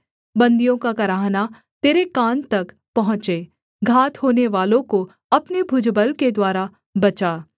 बन्दियों का कराहना तेरे कान तक पहुँचे घात होनेवालों को अपने भुजबल के द्वारा बचा